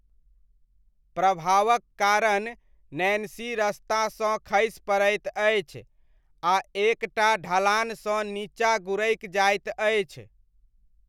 प्रभावक कारण नैन्सी रस्तासँ खसि पड़ैत अछि आ एक टा ढलानसँ नीचाँ गुड़कि जाइत अछि।